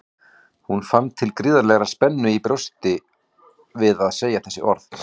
Hún fann til gríðarlegrar spennu í brjóstinu við að segja þessi orð.